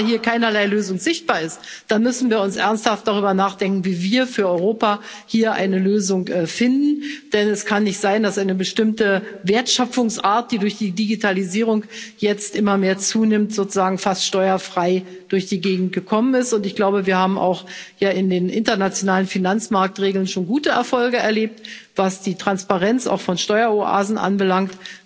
Wenn aber hier keinerlei Lösung sichtbar ist, dann müssen wir ernsthaft darüber nachdenken, wie wir für Europa hier eine Lösung finden, denn es kann nicht sein, dass eine bestimmte Wertschöpfungsart, die durch die Digitalisierung jetzt immer mehr zunimmt, sozusagen fast steuerfrei durch die Gegend gekommen ist, und ich glaube, wir haben auch in den internationalen Finanzmarktregeln schon gute Erfolge erlebt, was die Transparenz auch von Steueroasen anbelangt.